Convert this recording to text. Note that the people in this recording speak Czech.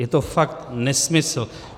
Je to fakt nesmysl.